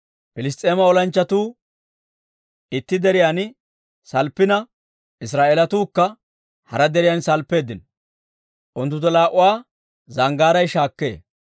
Piliss's'eema olanchchatuu itti deriyaan salppina, Israa'eelatuukka hara deriyaan salppeeddino; unttunttu laa"uwaa zanggaaray shaakkee.